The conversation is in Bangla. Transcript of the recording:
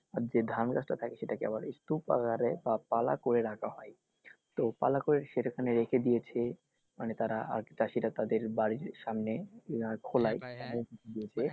যে ধান গাছটা থাকে সেটাকে আবার স্তূপ আকারে আবা পালা করে রাখা হয় তো পালা করে সেখানে রেখে দিয়েছে মানে তারা চাষিরা তাদের বাড়ির সামনে